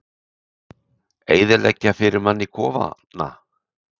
Eyðileggja fyrir manni kofana!